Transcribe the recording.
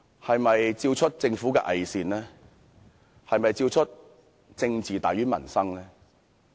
是否照出政府的偽善、"政治大於民生"？